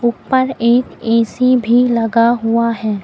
ऊपर एक ऐ_सी भी लगा हुआ है।